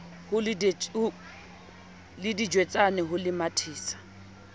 le ditswejane ho le mathisa